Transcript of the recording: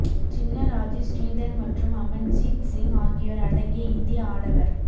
சின்ன ராஜு ஸ்ரீதர் மற்றும் அமன்ஜீத் சிங் ஆகியோர் அடங்கிய இந்திய ஆடவர்